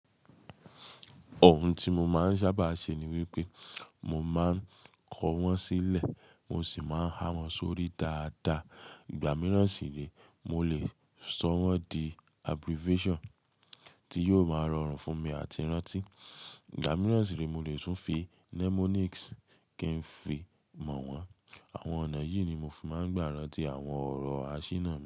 Òhun tí mo máa ń sábà ṣe ni wípé mo máa ń kọ wọ́n sílẹ̀ mo sì máa ń há wọn sórí dáadáa. Ìgbà mìíràn sì réè, mo lè sọ wọ́n di abbreviation tí yóò máa rọrùn fún mi àti rántí. Ìgbà mìíràn sì réè mo lè tún fi mnemonics kí ń fi mọ̀ wọ́n. Àwọn ọ̀nà yìí ni mo fi máa ń gbá rántí àwọn ọ̀rọ̀ àṣína mi.